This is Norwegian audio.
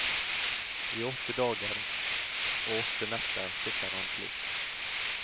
I åtte dager og åtte netter sitter han slik.